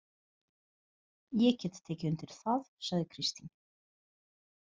Ég get tekið undir það, sagði Kristín.